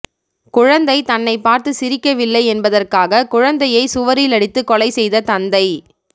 குழந்தை தன்னை பார்த்து சிரிக்கவில்லை என்பதற்காக குழந்தையை சுவரில் அடித்து கொலை செய்த தந்தை